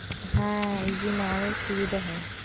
হ্যাঁ, এই জন্য আরো সুবিধা হয়।"